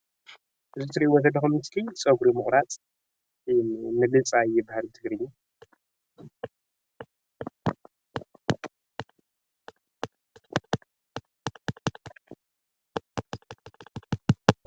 እዚ እትሪኢዎ ዘለኹም ምስሊ ፀጉሪ ምቑራፅ ወይም ምልፃይ ይበሃል ብትግርኛ፡፡